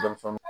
Denmisɛnnin